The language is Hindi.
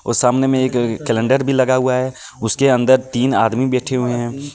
वह सामने में एक कैलेंडर भी लगा हुआ है उसके अंदर तीन आदमी बैठे हुए हैं ए --